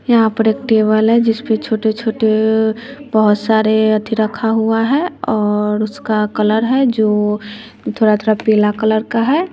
यहां पर एक टेबल है जिसपे छोटे-छोटे बहोत सारे अथी रखा हुआ है और उसका कलर है जो थोड़ा-थोड़ा पीला कलर का है।